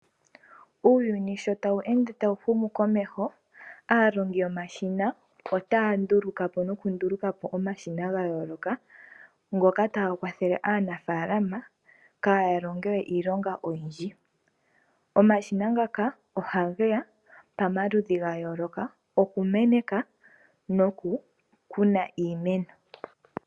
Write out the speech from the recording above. Uuyuni shotawu hume komeho aalongi yomashina otaya nduluka po nokunduluka omashina ga yoloka ngoka taga kwathele aanafalama kaya longewo iilonga oyindji. Omashina ngaka ohage ya pamaludhi gayoloka okumeneka nokukuna iimeno.